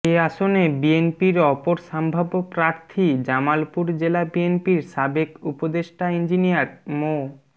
এ আসনে বিএনপির অপর সম্ভাব্য প্রার্থী জামালপুর জেলা বিএনপির সাবেক উপদেষ্টা ইঞ্জিনিয়ার মো